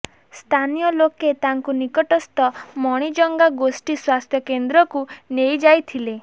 ସ୍ଥାନୀୟ ଲୋକେ ତାଙ୍କୁ ନିକଟସ୍ଥ ମଣିଜଙ୍ଗା ଗୋଷ୍ଠି ସ୍ୱାସ୍ଥ୍ୟ କେନ୍ଦ୍ରକୁ ନେଇଯାଇଥିଲେ